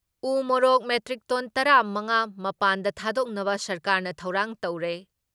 ꯎ ꯃꯣꯔꯣꯛ metric ton ꯇꯔꯥ ꯃꯉꯥ ꯃꯄꯥꯟꯗ ꯊꯥꯗꯣꯛꯅꯕ ꯁꯔꯀꯥꯔꯅ ꯊꯧꯔꯥꯡ ꯇꯧꯔꯦ ꯫